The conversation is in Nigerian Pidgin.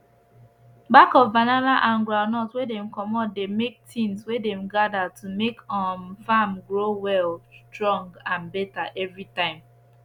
back of banana and groundnut wey dem comot dey make tins wey dem gather to make um farm grow well strong and better every time